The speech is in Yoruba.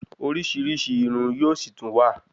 Orísirísi Irun yóò sì tún wà